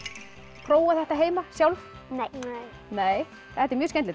prófað þetta heima sjálf nei þetta er mjög skemmtilegt